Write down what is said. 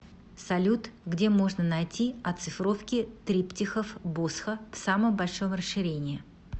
салют где можно найти оцифровки триптихов босха в самом большом расширении